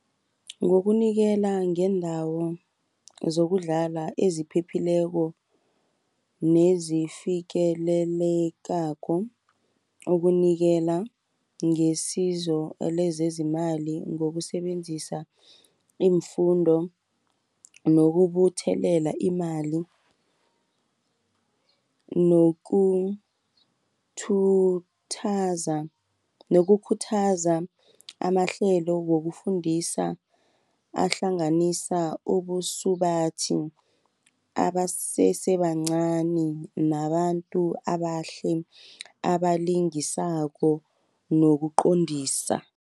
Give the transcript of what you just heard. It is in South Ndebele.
Ngokunikela ngeendawo zokudlala eziphephileko, nezifikelelekako okunikela ngesizo lezezimali. Ngokusebenzisa iimfundo, nokubuthelela imali, nokukhuthaza amahlelo wokufundisa, ahlanganisa ubusubathi abasesebancani nabantu abahle abalingisako nokuqondisa.